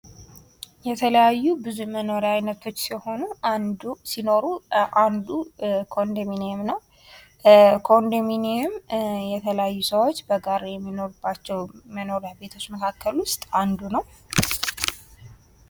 የተለያዩ የመኖርያ ቤቶች ሲኖሩ አንዱ ኮንዶሚንየም ነው ።እሱም የተለያዩ ሰዎች በአንድ ላይ የሚኖሩበት ነው።